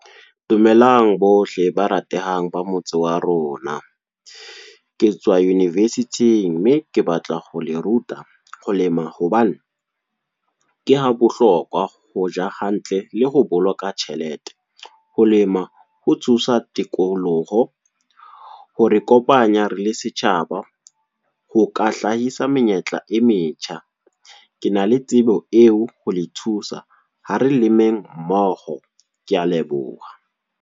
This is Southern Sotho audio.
Dumelang bohle ba ratehang, ba motse wa rona. Ke tswa university-ing mme, ke batla ho le ruta ho lema hobane, ke ha bohlokwa hoja hantle, le ho boloka tjhelete. Ho lema ho thusa tikoloho, hore kopanya re le setjhaba. Ho ka hlahisa menyetla e metjha. Ke na le tsebo eo ho le thusa, ha re lemeng mmoho. Ke a leboha.